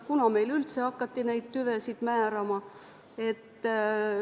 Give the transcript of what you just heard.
Millal meil üldse hakati neid tüvesid määrama?